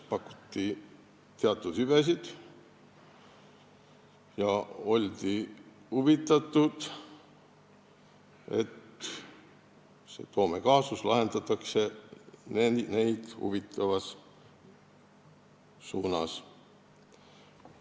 Pakuti teatud hüvesid ja oldi huvitatud, et see Toome kaasus lahendataks neid huvitavas suunas.